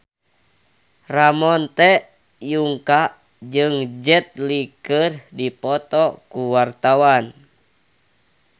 Ramon T. Yungka jeung Jet Li keur dipoto ku wartawan